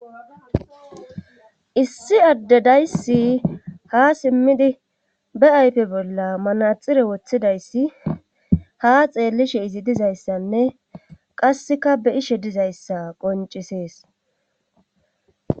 issi adde dayssi ha simmidi be aype bolla manaxire woththidayssi ha xeellishe izi dizayssanne qasseka be ishe dizayssa qoncisees